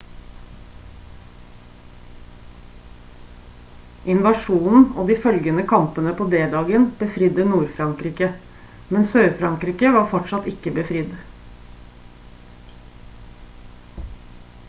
invasjonen og de følgende kampene på d-dagen befridde nord-frankrike men sør-frankrike var fortsatt ikke befridd